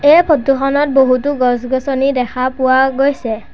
এই ফটো খনত বহুতো গছ-গছনি দেখা পোৱা গৈছে।